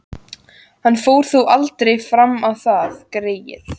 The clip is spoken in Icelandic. Hann fór þó aldrei fram á það, greyið.